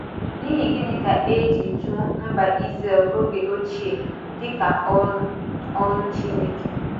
N’ihi gịnị ka e ji jụ́ mba Izrel oge ochie dị ka “ọ́rụ” “ọ́rụ” Chineke?